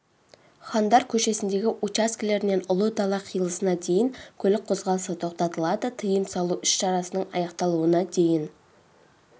хандар көшесіндегі учаскелерінен ұлы дала қиылысына дейін көлік қозғалысы тоқтатылады тыйым салу іс-шараның аяқталуына дейін